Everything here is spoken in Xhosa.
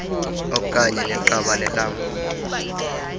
okanye neqabane lam